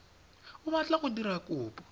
o batla go dira kopo